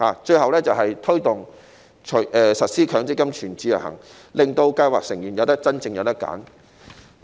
最後要做的是推動實施強積金"全自由行"，令計劃成員能夠有真正的選擇。